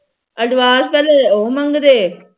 advance ਪਹਿਲਾ ਉਹ ਮੰਗਦੇ